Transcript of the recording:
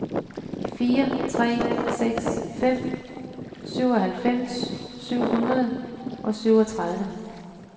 fire tre seks fem syvoghalvfems syv hundrede og syvogtredive